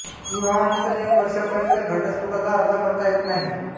विवाहानंतर एक वर्षांपर्यंत घटस्फ़ोटाचा अर्ज करता येत नाही